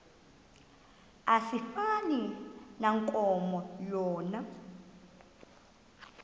asifani nankomo yona